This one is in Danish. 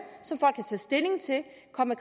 komme